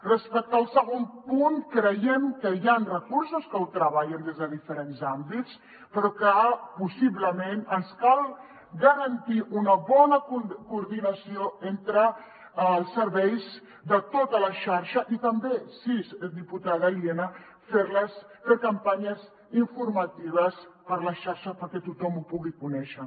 respecte al segon punt creiem que hi han recursos que ho treballen des de dife·rents àmbits però que possiblement ens cal garantir una bona coordinació entre els serveis de tota la xarxa i també sí diputada lienas fer campanyes informatives per la xarxa perquè tothom ho pugui conèixer